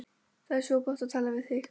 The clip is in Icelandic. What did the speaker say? Það er svo gott að tala við þig.